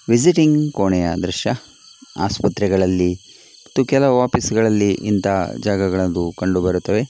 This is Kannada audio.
ವಿಸಿಟಿಂಗ್ ಕೊನೆಯ ದ್ರಶ್ಯ ಆಸ್ಪತ್ರೆಗಳಲ್ಲಿ ಮತ್ತು ಕೆಲವು ಆಫೀಸ್ ಗಳಲ್ಲಿ ಇಂತಹ ಜಾಗಗಳು ಕಂಡುಬರುತ್ತದೆ.